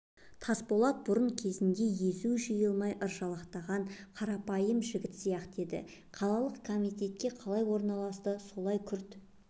тасболат бұрын кезінде езуі жиылмай ыржалақтаған қарапайым жігіт сияқты еді қалалық комитетке қалай орналасты солай күрт